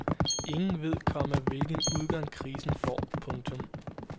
Ingen ved, komma hvilken udgang krisen får. punktum